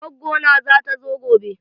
Gwaggo na zata zo gobe.